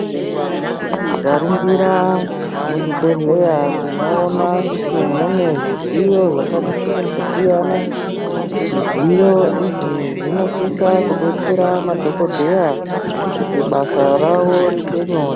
Tikaringira muzvibhehleya tinoona kuti mune zvidziyo zvakati kuti kusiyana, zvidziyo izvi zvinosisa kudetsera madhokodheya kuti basa rawo riite nyore.